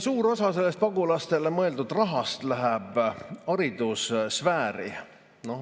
Suur osa pagulastele mõeldud rahast läheb haridussfääri.